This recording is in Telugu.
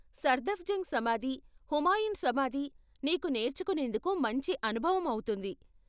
సఫ్దర్జంగ్ సమాధి, హుమాయున్ సమాధి నీకు నేర్చుకునేందుకు మంచి అనుభవం అవుతుంది.